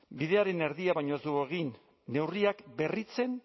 bidearen erdia baino ez dugu egin neurriak berritzen